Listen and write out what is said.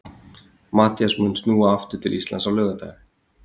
Matthías mun snúa aftur til Íslands á laugardaginn.